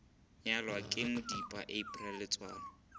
nyalwa ke modipa april letsoalo